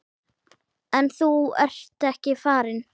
En þú ert ekki farinn.